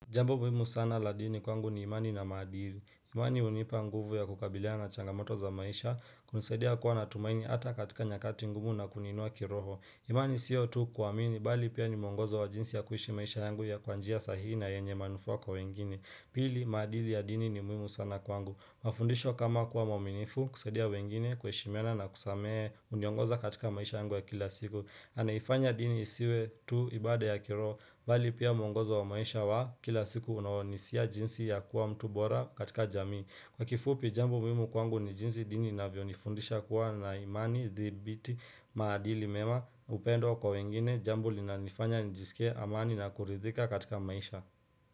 Jambo muhimu sana la dini kwangu ni imani na maadili. Imani hunipa nguvu ya kukabiliana na changamoto za maisha, kunisaidia kuwa na tumaini hata katika nyakati ngumu na kuniinua kiroho. Imani siyo tu kuaamini bali pia ni mwongozo wa jinsi ya kuishi maisha yangu ya kwa njia sahihi na yenye manufaa kwa wengine Pili maadili ya dini ni muhimu sana kwangu. Mafundisho kama kuwa mwaminifu, kusaidia wengine kuheshimiana na kusamehe huniongoza katika maisha yangu ya kila siku. Anaifanya dini isiwe tu ibada ya kiroho bali pia mwongozo wa maisha wa kila siku unaonisia jinsi ya kuwa mtu bora katika jamii Kwa kifupi jambo muhimu kwangu ni jinsi dini inavyonifundisha kuwa na imani thabiti, maadili mema, upendo kwa wengine, jambo linanifanya njisike amani na kuridhika katika maisha.